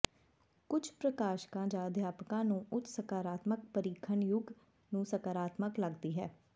ਕੁਝ ਪ੍ਰਸ਼ਾਸਕਾਂ ਜਾਂ ਅਧਿਆਪਕਾਂ ਨੂੰ ਉੱਚ ਸਕਾਰਾਤਮਕ ਪਰੀਖਣ ਯੁੱਗ ਨੂੰ ਸਕਾਰਾਤਮਕ ਲੱਗਦੀ ਹੈ